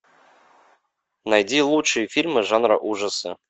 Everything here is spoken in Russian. найди лучшие фильмы жанра ужасы